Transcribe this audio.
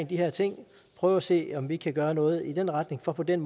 de her ting prøve at se om vi kan gøre noget i den retning for på den